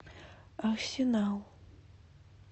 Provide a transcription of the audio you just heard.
арсенал